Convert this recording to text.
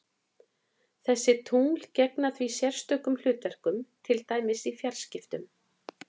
Þessi tungl gegna því sérstökum hlutverkum, til dæmis í fjarskiptum.